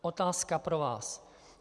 Otázka pro vás.